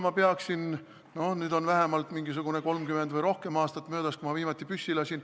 Nüüd on 30 või rohkem aastat möödas sellest, kui ma viimati püssi lasin.